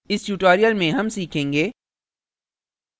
इस tutorial में हम सीखेंगे